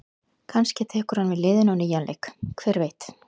Kannski tekur hann við liðinu á nýjan leik, hver veit?